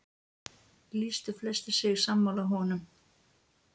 Lýstu flestir sig sammála honum.